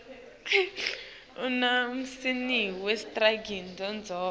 uma usimenu sirurgiselwa nendzawo